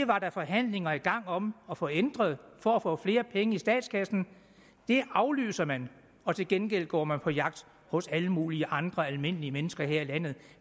var forhandlinger i gang om at få ændret for at få flere penge i statskassen det aflyser man og til gengæld går man på jagt hos alle mulige andre almindelige mennesker her i landet